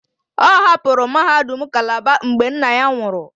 Ọ hapụrụ mahadum Calabar mgbe nna ya nwụrụ